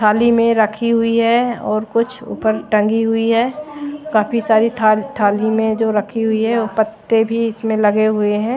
थाली में रखी हुई है और कुछ ऊपर टंगी हुई है काफी सारी थाल थाली में जो रखी हुई है वो पत्ते भी इसमें लगे हुए हैं।